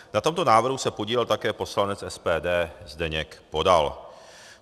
Na tomto návrhu se podílel také poslanec SPD Zdeněk Podal.